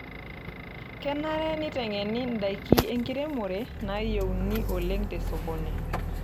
Kenare neitengeni indaiki enkiremore naayieuni oleng te sokoni.